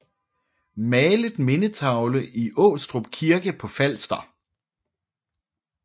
Malet mindetavle i Aastrup Kirke på Falster